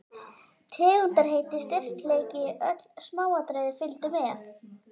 Tegundarheiti, styrkleiki, öll smáatriði fylgdu með.